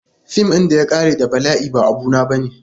Fim ɗin da ya ƙare da bala'i ba abu na bane.